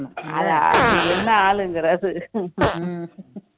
அது என்ன ஆளுங்குற அது